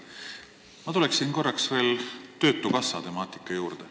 Ma tulen korra veel töötukassa temaatika juurde.